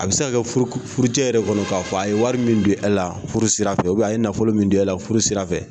A bɛ se ka kɛ furucɛ yɛrɛ kɔnɔ k'a fɔ a ye wari min don e la furu sira fɛ a ye nafolo min don e la furu sira fɛ